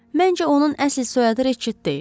Məncə onun əsl soyadı Reçet deyil.